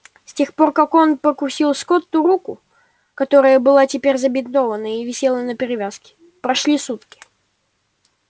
с тех пор как он прокусил скотту руку которая была теперь забинтована и висела на перевязки прошли сутки